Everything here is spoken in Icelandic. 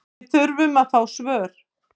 Við þurfum að fá svör